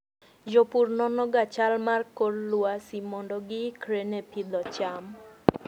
Jopur nonoga chal mar kor lwasi mondo giikre ne pidho cham.